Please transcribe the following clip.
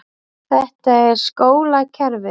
Þetta er skólakerfið.